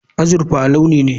Azurfa launi ce.